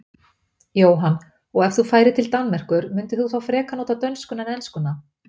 Jóhann: Og ef þú færir til Danmerkur myndir þú þá frekar nota dönskuna en enskuna?